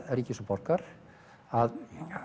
ríkis og borgar að